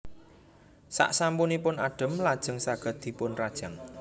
Sasampunipun adhem lajeng saged dipunrajang